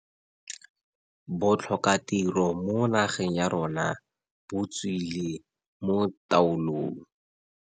Botlhokatiro mo nageng ya rona botswile mo taolong.